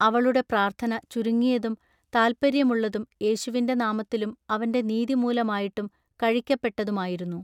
അവളുടെ പ്രാൎത്ഥന ചുരുങ്ങിയതും താല്പൎയ്യമുള്ളതും യേശുവിന്റെ നാമത്തിലും അവന്റെ നീതിമൂലമായിട്ടും കഴിക്കപ്പെട്ടതുമായിരുന്നു.